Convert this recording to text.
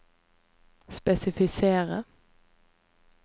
spesifisere